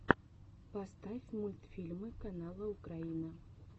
поставь мультфильмы канала украина